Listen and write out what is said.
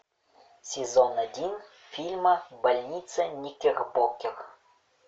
сезон один фильма больница никербокер